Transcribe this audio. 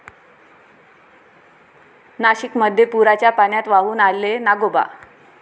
नाशिकमध्ये पुराच्या पाण्यात वाहून आले नागोबा!